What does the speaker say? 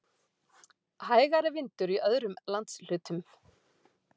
Hægari vindur í öðrum landshlutum